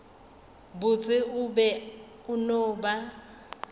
botse o be o na